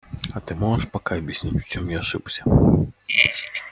а ты можешь пока объяснить в чём я ошибся